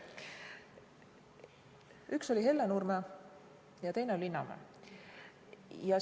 Üks oli Hellenurme ja teine on Linnamäe.